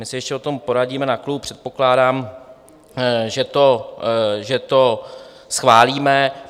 My se ještě o tom poradíme na klubu, předpokládám, že to schválíme.